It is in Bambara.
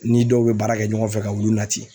Ni dɔw bɛ baara kɛ ɲɔgɔn fɛ ka wulu nati